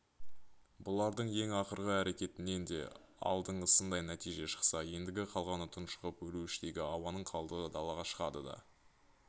бұлардың ең ақырғы әрекетінен де алдыңғысындай нәтиже шықса ендігі қалғаны тұншығып өлу іштегі ауаның қалдығы далаға шығады да